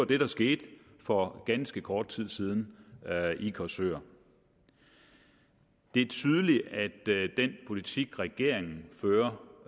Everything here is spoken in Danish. det der skete for ganske kort tid siden i korsør det er tydeligt at den politik regeringen fører